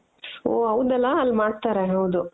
ಹೋ ಹೌದಲ ಅಲ್ಲಿ ಮಾಡ್ತಾರೆ ಹೌದು